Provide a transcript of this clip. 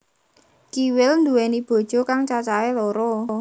Kiwil nduwéni bojo kang cacahé loro